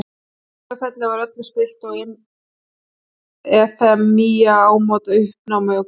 Á Sauðafelli var öllu spillt og Efemía í ámóta uppnámi og Guðrún.